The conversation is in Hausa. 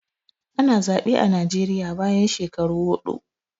Ana zaɓe a Najeriya bayan shekaru huɗu